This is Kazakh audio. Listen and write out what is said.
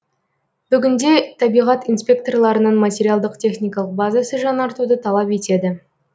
бүгінде табиғат инспекторларының материалдық техникалық базасы жаңартуды талап етеді